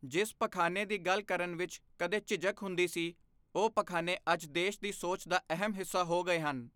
ਜਿਸ ਪਖਾਨੇ ਦੀ ਗੱਲ ਕਰਨ ਵਿੱਚ ਕਦੇ ਝਿਝਕ ਹੁੰਦੀ ਸੀ, ਉਹ ਪਖਾਨੇ ਅੱਜ ਦੇਸ਼ ਦੀ ਸੋਚ ਦਾ ਅਹਿਮ ਹਿੱਸਾ ਹੋ ਗਏ ਹਨ।